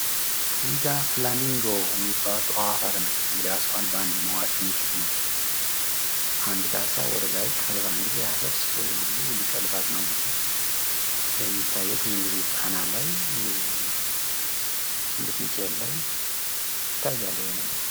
እዚህ ጋር ፍላሚንጎ ሚባለው አዋፋት ናቸው እንግዲህ አሳዋን ባንዴ መዋጥ የሚችሉ ናቸው አንዲት አሳ ወደላይ ልኮ አሰፍስፎ ይሄ ሁሉ ሊቀልባት ነው፤ እንግዲ ይሄ የሚታየው ብዙውን ጊዜ ጣና ላይ ሽንብጥ ሚካኤል ላይ ይታያል ይሄ ነገር።